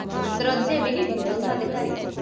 ਦਰਵਾਜੇ ਵੀ ਨੀ ਥੇ ਉਨਾਂ ਦੇ ਘਰੇ ਤਾਂ